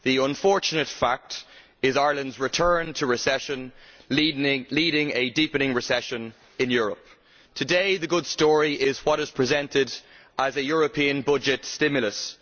The unfortunate fact is Ireland's return to recession, leading a deepening recession in Europe. Today, the good story is what is presented as a European budget stimulus.